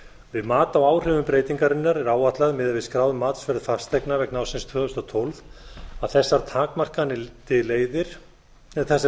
við mat á áhrifum breytingarinnar er áætlað miðað við skráð matsverð fasteigna vegna ársins tvö þúsund og tólf að þessar